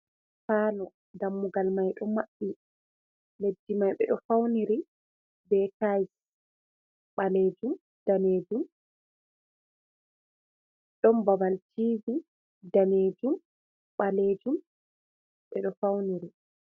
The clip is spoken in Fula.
Paalo, dammugal mai ɗo maɓɓi, leddi mai ɓe ɗo fawniri be taayis, ɓaleejum, daneejum. Ɗon babal tiivi, daneejum, ɓaleejum ɓe ɗo fawniri.